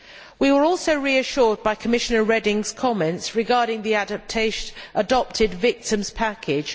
We were also reassured by Commissioner Reding's comments regarding the adopted victims package.